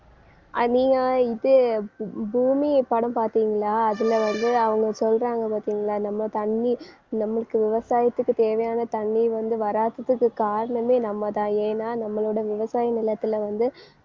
இது பூ~ பூமி படம் பார்த்தீங்களா அதுல வந்து அவங்க சொல்றாங்க பார்த்தீங்களா நம்ம தண்ணி நமக்கு விவசாயத்துக்கு தேவையான தண்ணி வந்து வராததுக்கு காரணமே நம்மதான் ஏன்னா நம்மளோட விவசாய நிலத்துல வந்து